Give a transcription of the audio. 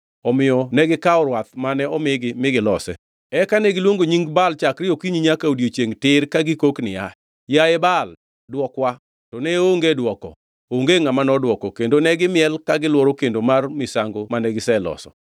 Omiyo negikawo rwath mane omigi mi gilose. Eka negiluongo nying Baal chakre okinyi nyaka odiechiengʼ tir ka gikok niya, “Yaye Baal, dwokwa!” To ne onge dwoko, onge ngʼama nodwoko. Kendo ne gimiel ka gilworo kendo mar misango mane giseloso.